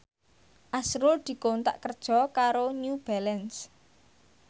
azrul dikontrak kerja karo New Balance